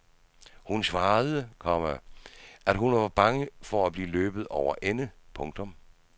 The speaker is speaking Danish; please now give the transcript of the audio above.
Hun svarede, komma at hun var bange for at blive løbet over ende. punktum